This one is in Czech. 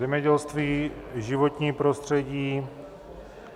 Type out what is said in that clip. Zemědělství, životní prostředí.